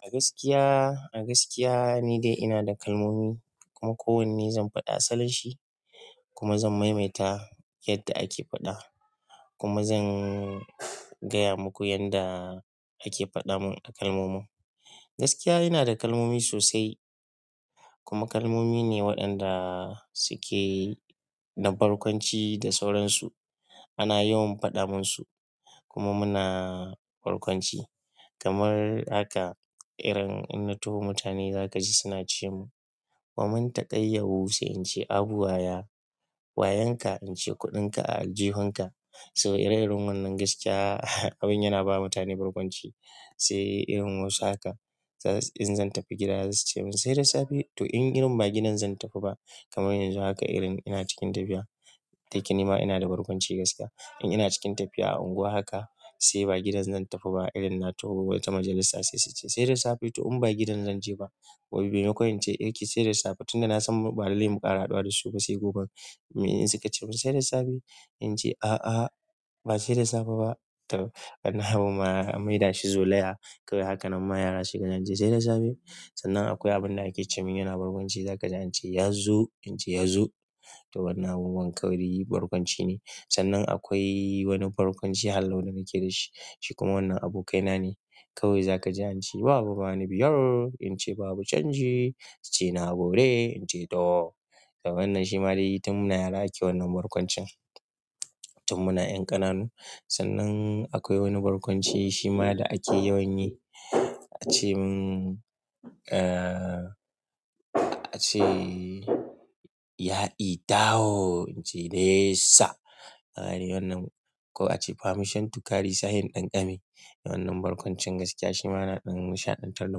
A gaskiya, a gaskiya ni dai ina da kalmomi kuma kowanne zan faɗa asalin shi kuma zan maimaita yadda ake faɗa kuma zan gaya muku yadda ake faɗa mun a kalmomin. Gaskiya ina da kalmomi sosai kuma kalmomi ne waɗanda suke da barkwanci da sauransu. Ana yawan faɗa man su kuma muna barkwanci kamar haka irin in na taho mutane za ka ji suna ce mun, "wa mun taƙaƴauwu?" Sai in ce, "Abu waya." "Wa yanka?" In ce, "Kuɗinka a aljihunka." So ire irin wannan gaskiya, abin yana ba mutane barkwanci. Sai irin wasu haka, in zan tafi gida za su cewa mun, "sai da safe." to in irin ba gidan zan tafi ba kamar yanzu haka irin ina cikin tafiya ta kinema ina da barkwanci gaskiya. In ina cikin tafiya a unguwa haka sai ba gidan zan tafi ba irin na taho wata majalisa sai su ce, "sai da safe." To in ba gidan zan je ba. Wai memakon ince eh saida safe tunda na san ba lallai mu ƙara haɗuwa da su ba sai gobe. Mi suka ceman saida safe in ce, "A'a, ba sai da safe ba." To wannan abu ma an mai da shi zolaya kawai haka nan ma yara sune ce, "jani jani." Sannan akwai abin da ake ce mun yana barkwanci za ka ji an ce, "Yazu." ince yazo to wannan abubuwan kawai barkwanci ne. Sannan akwai wani barkwanci hallau da nake da shi. Shi kuma wannan abokaina ne kawai za ka ji an ce, "Babu bani biyar." In ce, "Babu canji." Ya ce, "na gode." In ce, "to." To wannan shi ma dai tun muna yara ake wannan barkwancin tun muna 'yan ƙananu. Sannan akwai wani barkwanci shi ma da ake yawan yi. A ce mun, a ce, "Ya'i taho." in ce nesa. Haryi wannan ko a ce, "Famishen tukari sa he in ɗanƙame." Wannan barkwancin gaskiya shi ma yana ɗan nishaɗantar da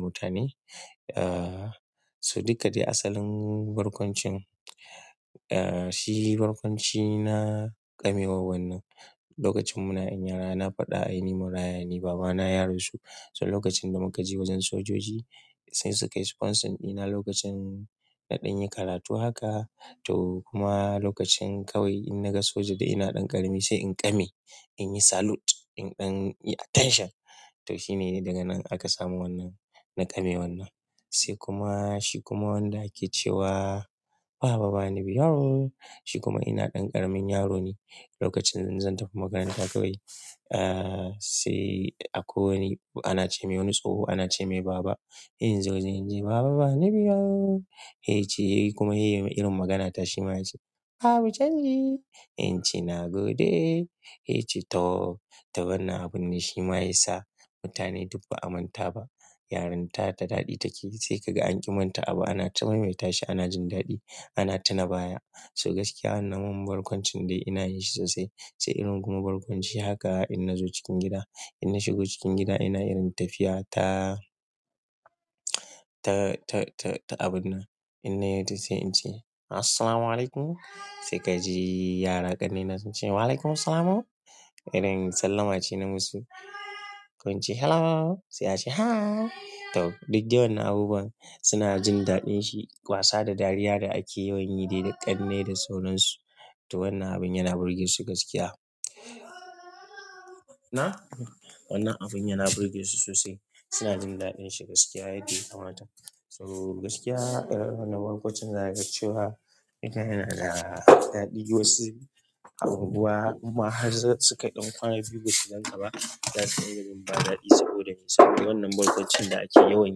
mutane. To duka dai asalin barkwancin shi barkwanci na ƙamewa wannan. Lokacin muna 'yan yara na faɗa ai ni marayane ai ni babana ya rasu. So lokacin da muka je wajen sojoji sai su kai sponsors ɗina lokacin naɗin yi karatu haka to kuma lokacin kawai in na ga soja da ina ɗan ƙarami sai in ƙame, in yi salute, in ɗan yi attention. To shi ne daga nan aka samu wannan na ƙame wannan. Sai kuma shi kuma wanda ake cewa, "Babu bani biyar." Shi kuma ina ɗan ƙaramin yaro ne. Lokacin zan tafi makaranta kawai, a sai akwai wani ana ce mai wani tsoho, ana ce mai, "Baba in zo." ince baba bani biyar. Ya ce kuma yayi irin maganata shi ma ya ce, "Babu canji." In ce, "na gode." Ya ce, "to." To wannan abun ne shi ma ya sa mutane duk ba a manta ba. Yaren ta da daɗi take sai kaga an ƙi manta abu. Anata mai maita shi ana jin daɗi ana tuna baya. So gaskiya wannan mun barkwancin dai ina yi shi sosai. Sai kuma irin kuma barkwanci haka innazo cikin gida, inna shigo cikin gida ina irin tafiya irin ta ta abinnan. In na yi ta sai in ce, "Assalamu alaikum." Sai ka ji yara ƙannena sun ce, "Wa alaikum assalam." Irin sallama ce na musu. Ko in ce, "Hello." Sai a ce, "Hi." To duk dai wannan abubuwan suna jin daɗin shi. Wasa da dariya da ake yawan yi dai da ƙannai da sauransu. To wannan abun yana birgesu gaskiya. Na'am wannan abin yana burge su sosai. Suna jin daɗin shi gaskiya yanda ya kamata. So gaskiya irin wannan barkwancin za ka ga cewa ita yana da daɗi. Wasu abubuwa ma har suka ɗan ƙwana biyu ba su ganka ba. Za su iya jin ba daɗi saboda me? Saboda wannan barkwancin da ake yawan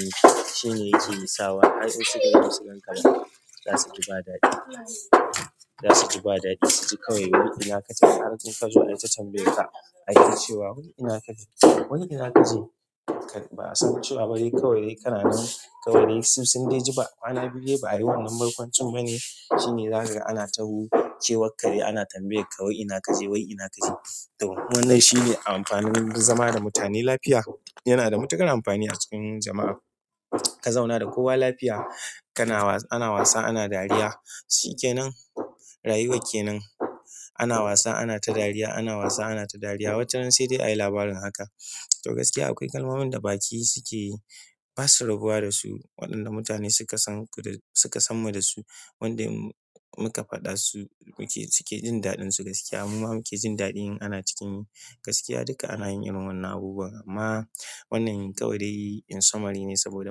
yi shine yake sawa har in sukaga ba su gan ka ba za su ji ba daɗi. Za su ji ba daɗi su ji kawai wai ina ka je har in ka zo ai ta tambaya ka ake cewa wai ina ka je. Wai ina ka je? Ba'a san cewa ba kawai dai ka nanan kawai dai su sun dai ji ba. Kwana biyu ba a yi wannan barkwancin bane. Shi ne za ka ga ana taho kewarka ne ana tambaya ka wai ina ka je? Wai ina ka je? To wannan shi ne amfanin zama da mutane lafiya. Yana da matuƙar amfani a cikin jama'a. Ka zauna da kowa lafiya ana wasa ana dariya. Shi ke nan, rayuwa ke nan. Ana wasa ana ta dariya, ana wasa ana ta dariya. Wata ran sai dai a yi labarin haka. To gaskiya akwai kalmomin da baki sukeyi basu rabuwa dasu wanda mutane suka suka sanmu dasu. Wanda in muka faɗa su muke suke jin daɗin su gaskiya mu ma muke jin daɗi in ana cikin yi. Gaskiya duka anayin irin wa'innan abubuwan amma wannan kawaidai in summary ne saboda mu.